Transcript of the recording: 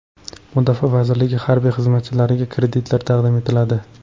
Mudofaa vazirligi harbiy xizmatchilariga kreditlar taqdim etiladi .